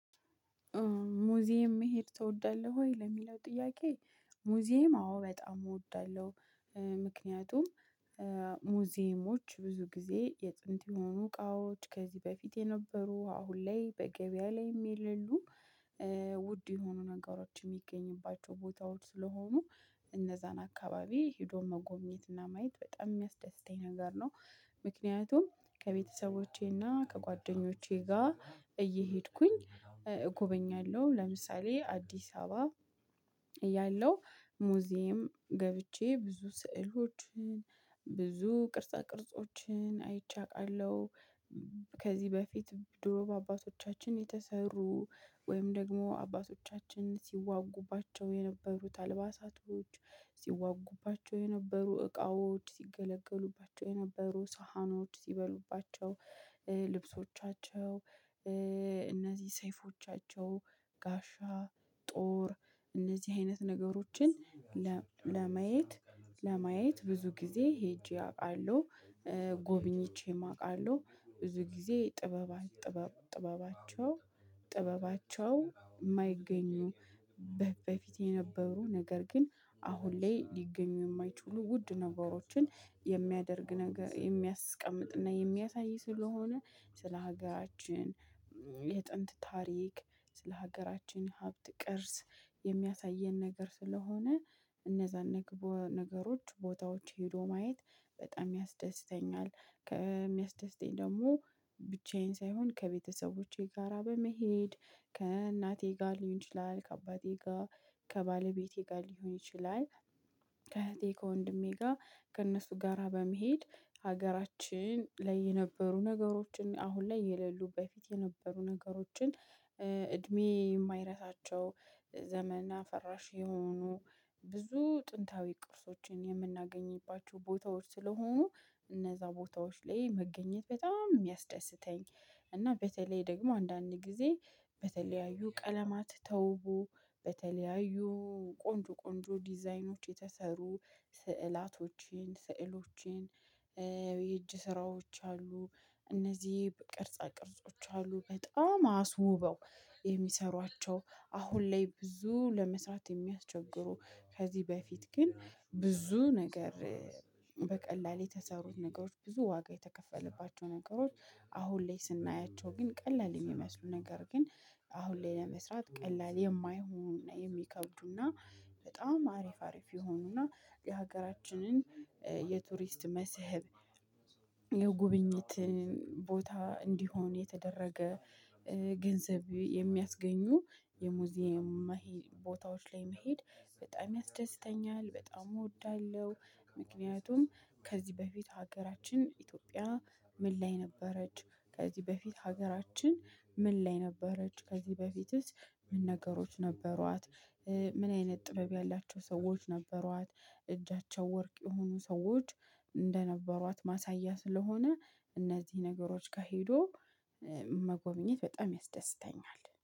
ሙዚየም መሄድ ትወዳለህ ወይ ለሚለው ጥያቄ ሙዚየም አዎ በጣም እወዳለሁ። ምክንያቱም ሙዚየሞች ብዙ ጊዜ የጥንት የሆኑ እቃዎች ከዚህ በፊት የነበሩ አሁን ላይ በገበያ ላይም የሌሉ ውድ የሆኑ ነገሮች የሚገኙባቸው ቦታዎች ስለሆኑ እነዛን አካባቢ ሄዶ መጎብኘትና ማየት በጣም የሚያስደስተኝ ነገር ነው። ምክንያቱም ከቤተሰቦቼና ከጓደኞቼ ጋር እየሄድኩኝ እጎበኛለሁ ለምሳሌ አዲስ አበባ እያለሁ ሙዚየም ገብቼ ብዙ ስዕሎችን ብዙ ቅርጻ ቅርጾችን አይቼ አውቃለሁ። ከዚህ በፊት ድሮ በአባቶቻችን የተሰሩ ወይም ደግሞ አባቶቻችን ሲዋጉባቸው የነበሩት አልባሳቶች ሲዋጉባቸው የነበሩ እቃዎች ሲገለገሉባቸው የነበሩ ሳህኖች ሲበሉባቸው ልብሶቻቸው እነዚህ ሰይፎቻቸው ጋሻ ጦር እነዚህ አይነት ነገሮችን ለማየት ለማየት ብዙ ጊዜ ሄጄ አውቃለሁ። ጎብኝቼም አውቃለሁ ብዙ ጊዜ ጥበባን ጥበባቸው ጥበባቸው የማይገኙ በፊት የነበሩ ነገር ግን አሁን ላይ ሊገኙ የማይችሉ ውድ ነገሮችን የሚያደርግ ነገር የሚያስቀምጥና የሚያሳይ ስለሆነ ስለ ሀገራችን የጥንት ታሪክ ስለ ሀገራችን ሀብት ቅርስ የሚያሳየን ነገር ስለሆነ እነዛን ነገሮች ቦታዎች ሄዶ ማየት በጣም ያስደስተኛል። ከሚያስደስተኝ ደግሞ ብቻዬን ሳይሆን ከቤተሰቦቼ ጋራ በመሄድ ከእናቴ ጋር ሊሆን ይችላል ከአባቴ ጋር ከባለቤቴ ጋር ሊሆን ይችላል። ከእህቴ ከወንድሜ ጋር ከእነሱ ጋራ በመሄድ ሀገራችን ላይ የነበሩ ነገሮችን አሁን ላይ የሌሉ በፊት የነበሩ ነገሮችን እድሜ የማይረሳቸው ዘመነ አፈራሽ የሆኑ ብዙ ጥንታዊ ቅርሶችን የምናገኝባቸው ቦታዎች ስለሆኑ እነዛ ቦታዎች ላይ መገኘት በጣም የሚያስደስተኝ። እና በተለይ ደግሞ አንዳንድ ጊዜ በተለያዩ ቀለማት ተውቦ በተለያዩ ቆንጆ ቆንጆ ዲዛይኖች የተሰሩ ስዕላቶችን ስዕሎችን። የእጅ ስራዎች አሉ እነዚህ በቅርጽ ቅርጾች አሉ በጣም አስውበው የሚሰሯቸው አሁን ላይ ብዙ ለመስራት የሚያስቸግሩ ከዚህ በፊት ግን ብዙ ነገር። በቀላሉ የተሰሩት ነገሮች ብዙ ዋጋ የተከፈለባቸው ነገሮች አሁን ላይ ስናያቸው ግን ቀላል የሚመስሉ ነገር ግን አሁን ላይ ለመስራት ቀላል የማይሆን የሚከብዱና በጣም አሪፍ አሪፍ የሆኑና የሀገራችንን የቱሪስት መስህብ። የጉብኝት ቦታ እንዲሆን የተደረገ ገንዘብ የሚያስገኙ የሙዚየም ቦታዎች ላይ መሄድ በጣም ያስደስተኛል በጣም እወዳለሁ። ምክንያቱም ከዚህ በፊት ሀገራችን ኢትዮጵያ ምን ላይ ነበረች? ከዚህ በፊት ሀገራችን ምን ላይ ነበረች? ከዚህ በፊትስ ምን ነገሮች ነበሯት? ምን አይነት ጥበብ ያላቸው ሰዎች ነበሯት? እጃቸው ወርቅ የሆኑ ሰዎች እንደነበሯት ማሳያ ስለሆነ እነዚህ ነገሮች ጋር ሄዶ መጎብኘት በጣም ያስደስተኛል